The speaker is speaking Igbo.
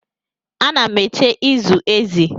Ana m eche ịzụ ezi.